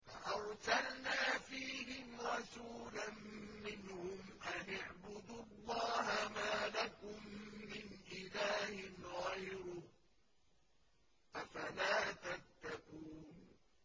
فَأَرْسَلْنَا فِيهِمْ رَسُولًا مِّنْهُمْ أَنِ اعْبُدُوا اللَّهَ مَا لَكُم مِّنْ إِلَٰهٍ غَيْرُهُ ۖ أَفَلَا تَتَّقُونَ